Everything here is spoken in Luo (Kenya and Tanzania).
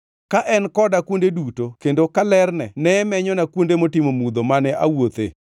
ka en koda kuonde duto kendo ka lerne ne menyona kuonde motimo mudho mane awuothe!